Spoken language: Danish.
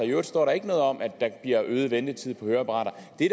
øvrigt står der ikke noget om at det giver øget ventetid på høreapparater det